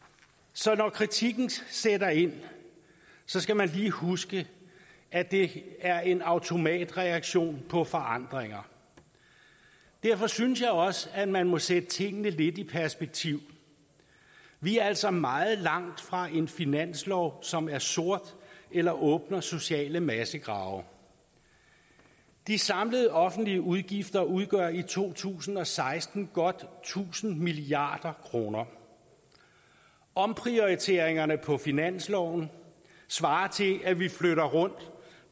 så når kritikken sætter ind skal man lige huske at det er en automatreaktion på forandringer derfor synes jeg også at man må sætte tingene lidt i perspektiv vi er altså meget langt fra en finanslov som er sort eller åbner sociale massegrave de samlede offentlige udgifter udgør i to tusind og seksten godt tusind milliard kroner omprioriteringerne på finansloven svarer til at vi flytter rundt